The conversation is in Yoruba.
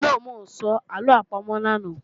No, ń ò sọ àlọ àpamọ̀ lánàá